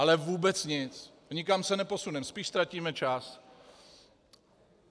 Ale vůbec nic, nikam se neposuneme, spíš ztratíme čas.